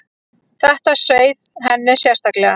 Þetta sveið henni sérstaklega.